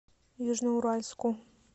южноуральску